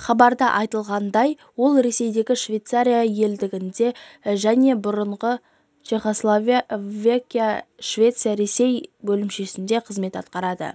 хабарда айтылғандай ол ресейдегі швеция елшілігінде және бұрынғы чехословакия швеция ресей бөлімшесінде қызмет атқарды